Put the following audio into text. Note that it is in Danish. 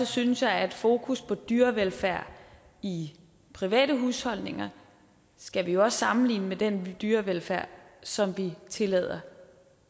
synes jeg at fokus på dyrevelfærd i private husholdninger skal vi også sammenligne med den dyrevelfærd som vi tillader